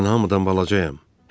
Mən hamıdan balacayam,